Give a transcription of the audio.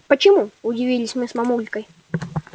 почему удивились мы с мамулькой